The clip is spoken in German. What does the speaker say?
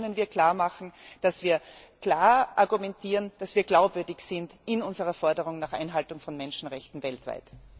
Nur so können wir klarmachen, dass wir klar argumentieren, dass wir glaubwürdig sind in unserer Forderung nach Einhaltung von Menschenrechten weltweit.